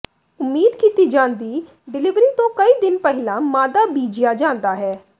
ਉਮੀਦ ਕੀਤੀ ਜਾਂਦੀ ਡਿਲਿਵਰੀ ਤੋਂ ਕਈ ਦਿਨ ਪਹਿਲਾਂ ਮਾਦਾ ਬੀਜਿਆ ਜਾਂਦਾ ਹੈ